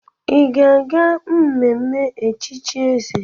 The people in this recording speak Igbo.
Ị ga-aga mmenme echichi Eze?